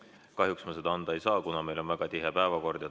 Kahjuks ma seda anda ei saa, kuna meil on väga tihe päevakord.